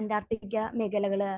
Antarctica മേഖലകൾ